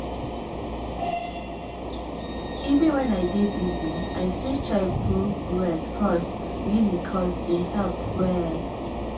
even when i dey busy i still try put rest first really cos dey help well.